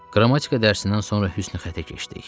Qrammatika dərsindən sonra hüsnxəttə keçdik.